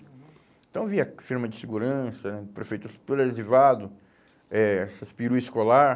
Então eu via firma de segurança, prefeitura, tudo adesivado, eh essas peru escolar.